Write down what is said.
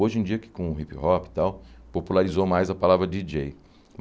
Hoje em dia que, com hip hop e tal, popularizou mais a palavra Di dJei.